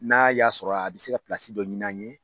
N'a y'a sɔrɔ a bɛ se ka dɔ ɲini an ye